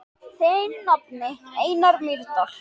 Þinn nafni, Einar Mýrdal.